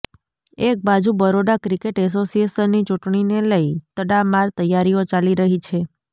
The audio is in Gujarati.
એકબાજુ બરોડા ક્રિકેટ એસોસિયેશનની ચૂંટણીને લઈ તડામાર તૈયારીઓ ચાલી રહી છે